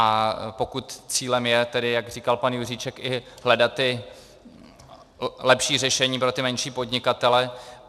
A pokud cílem je, tedy jak říkal pan Juříček, i hledat ta lepší řešení pro ty menší podnikatele...